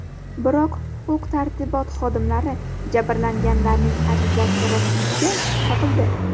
Biroq huquq-tartibot xodimlari jabrlanganlarning arizasi rostligiga shubha qildi.